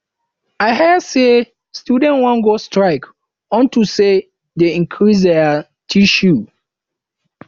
i hear say students wan go strike unto say dey increase their tuition